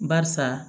Barisa